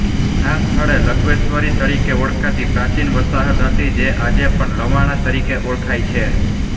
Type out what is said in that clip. આ સ્થળે લવણેશ્વરી તરીકે ઓળખાતી પ્રાચીન વસાહત હતી જે આજે પણ લવાણા તરીકે ઓળખાય છે